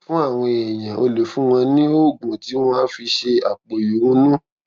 fún àwọn èèyàn o lè fún wọn ní oògùn tí wón á fi ṣe àpò ìrunú